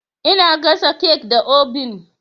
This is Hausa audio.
Ina gasa kek da obin.